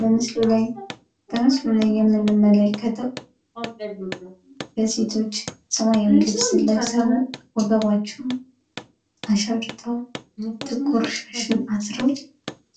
በምስሉ ላይ የምንመለከተው ሴቶች ሰማያዊ ቀሚስ ለብሰው፣ ወገባቸውን ታጥቀው እና ጥቁር ሻሽ